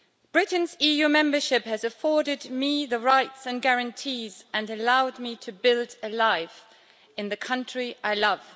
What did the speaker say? Britain's EU membership has afforded me rights and guarantees and allowed me to build a life in the country I love.